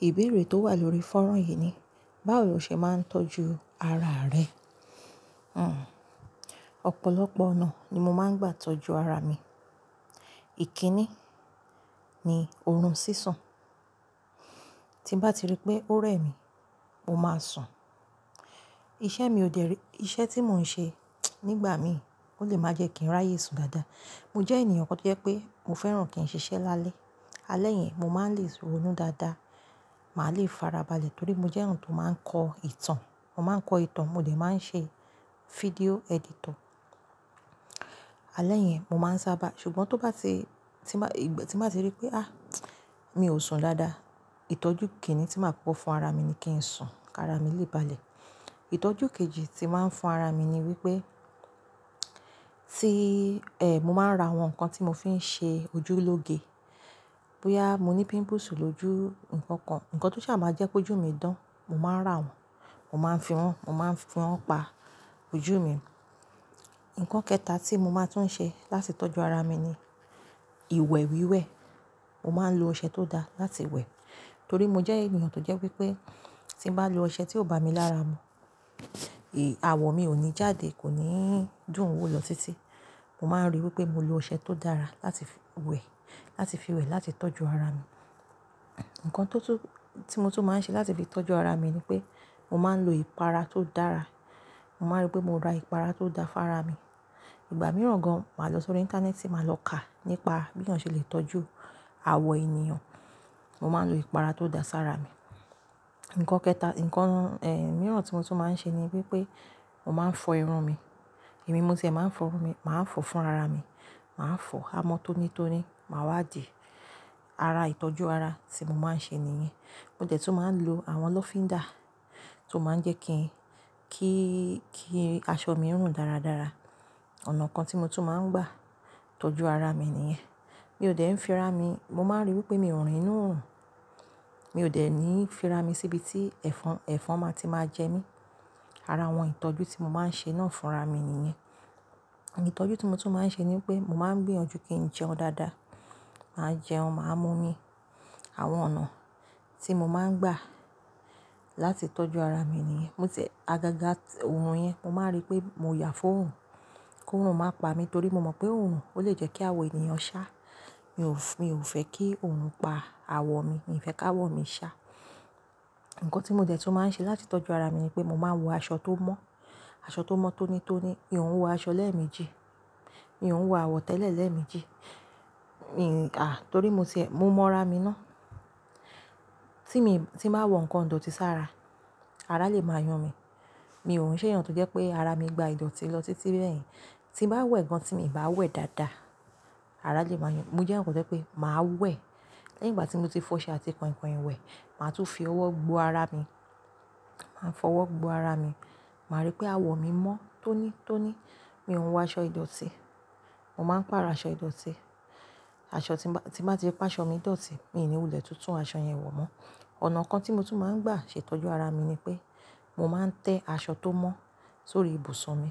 Ìbéèrè tó wà lórí fánrán yìí ni, báwo lo ṣe máa ń tọ́jú ara rẹ? Ìbéèrè tó wà lórí fánrán yìí ni, báwo lo ṣe máa ń tọ́jú ara rẹ? Hhm ọ̀pọ̀lọpọ̀ ọ̀nà ni mo máa ń gbà tọ́jú ara mi. Tí bá ti rí pé ó rẹ̀ mí, mo máa sùn. Iṣẹ́ mi ò dẹ̀rí-- iṣẹ́ tí mò ń ṣe nígbà mi ò lè má jẹ́ kí n ráyè sùn dáadáa. Mo jẹ́ ènìyàn tó jẹ́ pé mo fẹ́ràn kí n ṣiṣẹ́ lálẹ́. Alẹ́ yẹn mo máa ń le è ronú dáadáa. Màá le farabalẹ̀ torí mo jẹ́ yan tó máa ń kọ ìtàn. Mo máa ń kọ ìtàn, mo dẹ̀ máa ń ṣe fídíò editor. Alẹ́ yẹn mo máa ń sábà, ṣùgbọ́n tó bá ti, tí máa, ìgbà tí màá ti rí pé, "à, mi ò sùn dáadáa." Ìtọ́jú kinin tí màá kọ̀ fún ara mi ni kí n sùn ká ara mi lè balẹ̀. Ìtọ́jú kejì tí màá ń fún ara mi ni wípé, tí, ẹ́, mo máa ń ra àwọn nǹkan tí mo fi ń ṣe ojú lóge. Bóyá mo ní pimples lójú, nǹkan kan, nǹkan tó jẹ́ máa jẹ́ pé ojú mi dán, mo máa rà wọ́n, mo máa ń fi wọn, mo máa ń fi wọ́n pa ojú mi. Ǹkan kẹta tí mo máa tún ṣe láti tọ́jú ara mi ni ìwẹ̀ wíwẹ̀. Mo máa ń lo ọṣẹ tó da láti wẹ̀. Torí mo jẹ́ ènìyàn tó jẹ́ wípé tí n bá lo ọṣẹ tí ò bá mi lára mu, èé, awọ mi ò ní jáde, kò ní dùn ún wò lọ títí. Mo máa ń ríi wípé mo lo ọṣẹ tó dára láti wẹ̀, láti fi wẹ̀, láti tọ́jú ara mi. Ǹkan tó tún, tí mo tún máa ń ṣe láti fi tọ́jú ara mi ni pé mo máa ń lo ìpara tó dára. Mo máa rí pé mo ra ìpara tó da fún ara mi. Ìgbà mìíràn gan mo máa lọ sórí ìntanẹ́ẹ̀tì, màá lọ kà nípa bí èèyàn ṣe lè tọ́jú awọ ènìyàn. Mo máa ń lo ìpara tó da sára mi. Ǹkan kẹta, ǹkan, ẹ́, mìíràn tí mo tún máa ń ṣe ni wípé mo máa ń fọ irun mi. Èmi mo tí ẹ máa ń fọ irun mi, màá ń fọ fún ara mi. Màá fọ amọ́ tónítóní, màá wá dì. Ara ìtọ́jú ara tí mo máa ń ṣe nìyẹn. Mo dẹ̀ tún máa ń lo àwọn lọ́fíndà tó máa ń jẹ́ kí, kí, kí aṣọ mi rùn dáradára. Ọ̀nà kan tí mo tún máa ń gbà tọ́jú ara mi nìyẹn. Mi ò dẹ̀ ń fi ra mi. Mo máa ń ríi wípé mi ò rìn inú òòrùn. Mi ò dẹ̀ ní fi ra mi síbi tí ẹ̀fọn, ẹ̀fọn máa ti máa jẹ mí. Ara àwọn ìtọ́jú tí mo máa ń ṣe náà fúnra mi nìyẹn. Ìtọ́jú tí mo tún máa ń ṣe ni pé mo máa ń gbìyànjú kí n jẹun dáadáa. Màá jẹun, màá mú omi. Àwọn ọ̀nà tí mo máa ń gbà láti tọ́jú ara mi nìyẹn. Mo tiẹ̀ agaga òòrùn yẹn, mo máa rí pé mo yà fún òòrùn kí òòrùn má pa mi torí mo mọ̀ pé òòrùn ó lè jẹ́ kí awọ ènìyàn ṣá. Mi ò fẹ́, mi ò fẹ́ kí òòrùn pa awọ mi. Mi ò fẹ́ ká awọ mi ṣá. Ǹkan tí mo dẹ̀ tún máa ń ṣe láti tọ́jú ara mi ni pé mo máa ń wọ aṣọ tó mọ́. Aṣọ tó mọ́ tónítóní. Mi ò ń wọ aṣọ lẹ́ẹ̀méjì. Mi ò ń wọ àwọ̀ tẹ́lẹ̀ lẹ́ẹ̀méjì. Mi, à, torí mo ti ẹ, mo mọ ara mi ná. Tí mi, tí màá wọ ǹkan tó ti sá ara, ara lè máa yún mí. Mi ò ń ṣe ènìyàn tó jẹ́ pé ara mi gba ìdọ̀tí lọ títí bẹ́ẹ̀ yẹn. Tí màá wẹ̀ gan tí mi ò bá wẹ̀ dáadáa, ara lè máa yàn. Mo jẹ́ èèyàn kan tó jẹ́ pé màá wẹ̀. Lẹ́yìn ìgbà tí mo ti fọ́ṣẹ́ àti kọ̀ìnkọ̀ìn wẹ̀, màá tún fi ọwọ́ gbó ara mi. Màá fọwọ́ gbó ara mi. Màá rí pé awọ mi mọ́ tónítóní. Mi ò ń wọ aṣọ ìdọ̀tí. Mo máa ń pa arọ aṣọ ìdọ̀tí. Aṣọ tí bà, tí bà ti pé aṣọ mi dọ̀tí, mi ò ní wulẹ̀ tuntun aṣọ yẹn wọ̀ mọ́. Ọ̀nà kan tí mo tún máa ń gbà ṣe tọ́jú ara mi ni pé mo máa ń tẹ aṣọ tó mọ́ sórí ibùsùn mi.